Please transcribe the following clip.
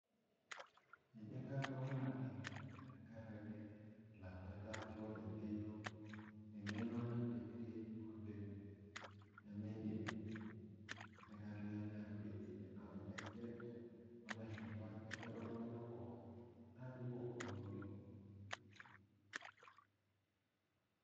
Keji enkang olangeni tenkaraki lakwetak oota engeno nakwetie oleng. nemeidim likae tungani akwetie amu ekwet lashumpa nekwet oltunganak pookin nakumok pookin.